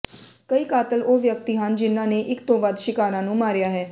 ਕਈ ਕਾਤਲ ਉਹ ਵਿਅਕਤੀ ਹਨ ਜਿਨ੍ਹਾਂ ਨੇ ਇਕ ਤੋਂ ਵੱਧ ਸ਼ਿਕਾਰਾਂ ਨੂੰ ਮਾਰਿਆ ਹੈ